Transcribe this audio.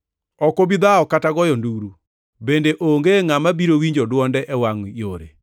Ok obi dhawo kata goyo nduru; bende onge ngʼama biro winjo dwonde e wangʼ yore.